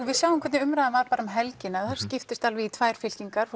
við sjáum hvernig umræðan var bara um helgina þar skiptist fólk alveg í tvær fylkingar